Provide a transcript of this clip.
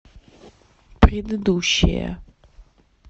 предыдущая